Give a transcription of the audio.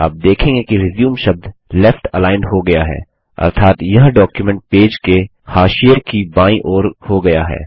आप देखेंगे कि रिज्यूम शब्द लेफ्ट अलाइंड हो गया है अर्थात यह डॉक्युमेंट पेज के हाशिये की बायीं ओर हो गया है